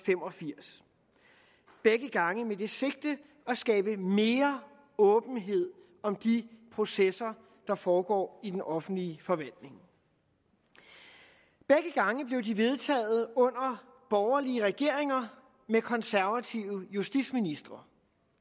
fem og firs begge gange med det sigte at skabe mere åbenhed om de processer der foregår i den offentlige forvaltning begge gange blev de vedtaget under borgerlige regeringer med konservative justitsministre